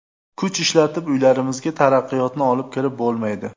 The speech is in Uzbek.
Kuch ishlatib uylarimizga taraqqiyotni olib kirib bo‘lmaydi.